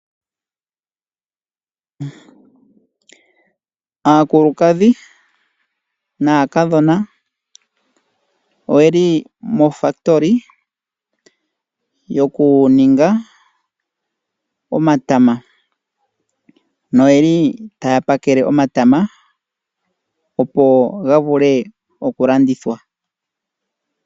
Aakulukadhi naakadhona oyeli mofakitoli yoku ninga omatama noye li taya pakele omatama opo ga vule oku landithwa.